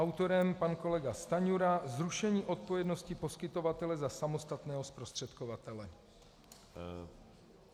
Autorem pan kolega Stanjura, zrušení odpovědnosti poskytovatele za samostatného zprostředkovatele.